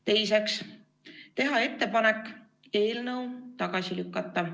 Teiseks, teha ettepanek eelnõu tagasi lükata.